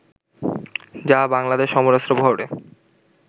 যা বাংলাদেশের সমরাস্ত্র বহরে